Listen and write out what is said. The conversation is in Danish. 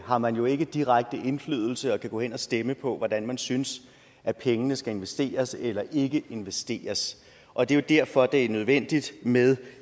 har man jo ikke direkte indflydelse og kan gå hen og stemme på hvordan man synes at pengene skal investeres eller ikke investeres og det er derfor det er nødvendigt med